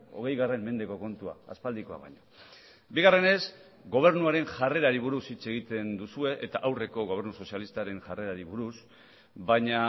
hogei mendeko kontua aspaldikoa baino bigarrenez gobernuaren jarrerari buruz hitz egiten duzue eta aurreko gobernu sozialistaren jarrerari buruz baina